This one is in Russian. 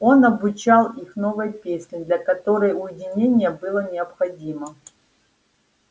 он обучал их новой песне для которой уединение было необходимо